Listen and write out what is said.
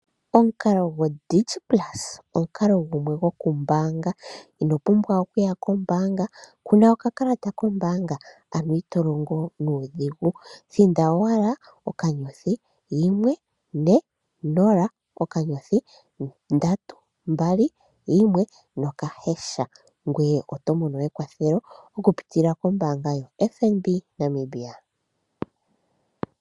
Omukalo go digiplus omukalo gumwe goku mbaanga, ino pumbwa okuya kombaanga, kuna okakalata kombaanga ano ito longo nuudhigu thinda owala *140*321# ngweye oto mono ekwathelo okupitilla kombaanga yo FNB Namibia.